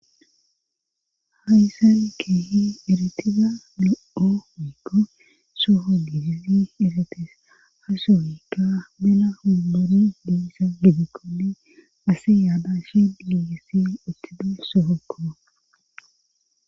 Haysan keehi eritida no7omikko soho gijisi iratees asohykka mela hummuri diisa gigikkoli asi yaada shi digessi uttede soho koba.